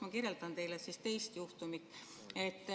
Ma kirjeldan teile teist juhtumit.